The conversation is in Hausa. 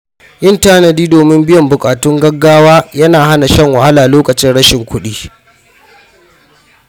Yin tanadi domin biyan buƙatun gaugawa yana hana shan wahala lokacin rashin kuɗi.